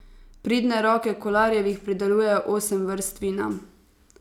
Pridne roke Kolarjevih pridelujejo osem vrst vina.